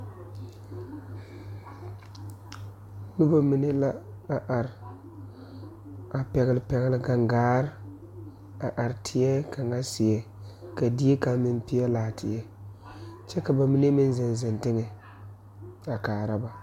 Nobɔ mine la are a pɛgle pɛgle gaŋgaare a are teɛ kaŋa seɛ ka die kaŋ meŋ peɛlaa teɛ kyɛ ka ba mine meŋ zeŋ zeŋ teŋɛ a kaara ba.